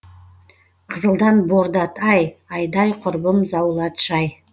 қызылдан бордат ай айдай құрбым заулатшы ай